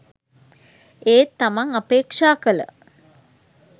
ඒත් තමන් අපේක්ෂා කළ